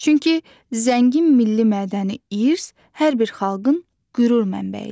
Çünki zəngin milli mədəni irs hər bir xalqın qürur mənbəyidir.